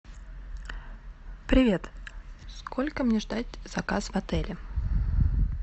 привет сколько мне ждать заказ в отеле